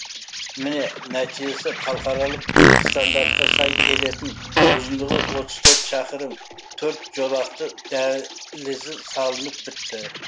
міне нәтижесі халықаралық стандартқа сай келетін ұзындығы отыз төрт шақырым төрт жолақты дәлізі салынып бітті